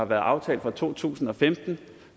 været aftalt for to tusind og femten